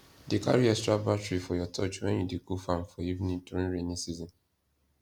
dey carry extra battery for your torch when you dey go farm for evening during rainy season